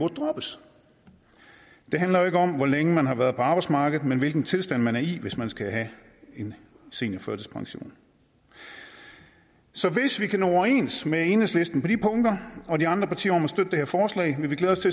droppes det handler jo ikke om hvor længe man har været på arbejdsmarkedet men hvilken tilstand man er i hvis man skal have en seniorførtidspension så hvis vi kan nå overens med enhedslisten på de punkter og med de andre partier om at støtte det her forslag vil vi glæde os